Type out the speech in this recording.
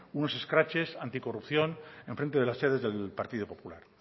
unos escraches anticorrupción en frente de las sedes del partido popular